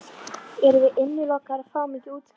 En við erum innilokaðir og fáum ekki að útskrifast.